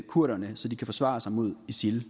kurderne så de kan forsvare sig mod isil